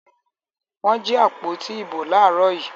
Wọ́n jí àpótí ìbò láàárọ̀ yìí.